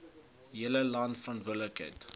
hele land verantwoordelik